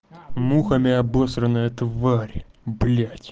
мухами обосранная тварь блять